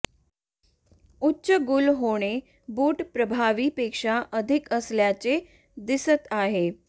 उच्च गुल होणे बूट प्रभावी पेक्षा अधिक असल्याचे दिसत आहे